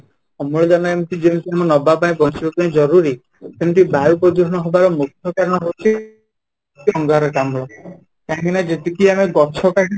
ଅମ୍ଳଜାନ ଏମିତି ଯେମିତି ନବା ପାଇଁ ବଞ୍ଚିବା ପାଇଁ ଜରୁରୀ ସେମିତି ବାୟୁ ପ୍ରଦୂଷଣ ହବାର ମୁଖ୍ୟ କାରଣ ହଉଛି, ଅଙ୍ଗାରକାମ୍ଳ କାହିଁକିନା ଯେତିକି ଆମେ ଗଛ କାଟୁଛୁ